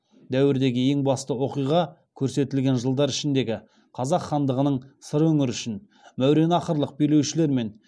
дәуірдегі ең басты оқиғаға көрсетілген жылдар ішіндегі қазақ хандығының сыр өңірі үшін мәуереннахрлық билеушілерімен